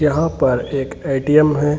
यहां पर एक ए.टी.एम. है।